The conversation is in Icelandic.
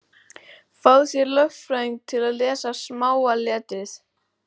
Fáðu þér lögfræðing til að lesa smáa letrið.